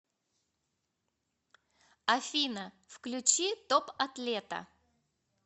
афина включи топ атлета